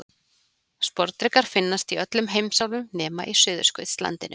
Sporðdrekar finnast í öllum heimsálfum nema á Suðurskautslandinu.